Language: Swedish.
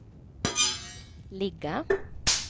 ligga